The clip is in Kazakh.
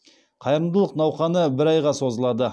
қайырымдылық науқаны бір айға созылады